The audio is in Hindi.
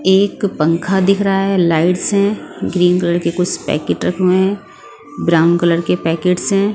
एक पंखा दिख रहा है लाइट्स हैं ग्रीन कलर के कुछ पैकेट रखे हुए हैं ब्राउन कलर के पैकेट्स हैं।